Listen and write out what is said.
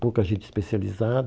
Pouca gente